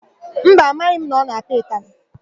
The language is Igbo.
Mba, amaghị m na ọ na-apịa ụtalị.